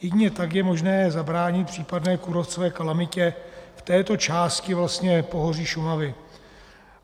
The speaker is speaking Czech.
Jedině tak je možné zabránit případné kůrovcové kalamitě v této části pohoří Šumavy.